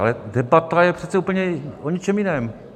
Ale debata je přece úplně o něčem jiném.